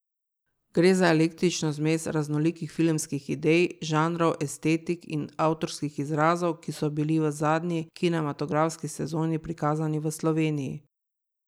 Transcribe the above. Gre za eklektično zmes raznolikih filmskih idej, žanrov, estetik in avtorskih izrazov, ki so bili v zadnji kinematografski sezoni prikazani v Sloveniji.